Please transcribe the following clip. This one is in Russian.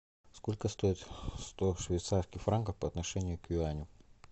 сколько стоит сто швейцарских франков по отношению к юаню